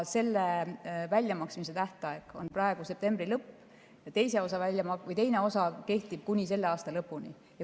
Selle väljamaksmise tähtaeg on praegu septembri lõpp ja teine osa kehtib kuni selle aasta lõpuni.